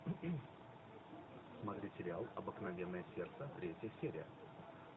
смотреть сериал обыкновенное сердце третья серия